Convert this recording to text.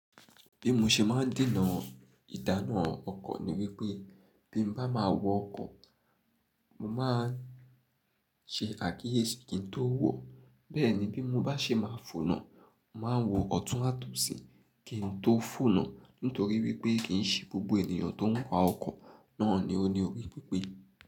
Bí mo ṣe máa ń dènà ìdáná ọkọ̀ ni wípé bí m bá máa wọ ọkọ̀, mo máa ń ṣe àkíyèsí kín tó wo, bẹ́ẹ̀ ni bí mo bá ṣe máa fọ̀nà, màá wo ọ̀tún àtosí kí n tó fọ̀nà nítorí wípé kìí ṣe gbogbo ènìyàn tó ń wa ọkọ̀ náà ni ó ní orí pípé.